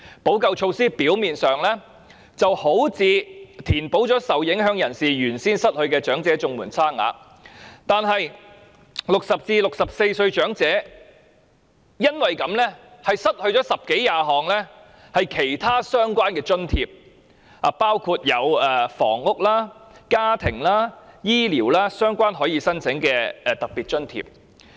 補救措施表面上好像填補了受影響人士失去的長者綜援差額，但是 ，60 歲至64歲的長者因此失去了十多二十項其他相關的津貼，包括房屋、家庭及醫療等可供申請的特別津貼。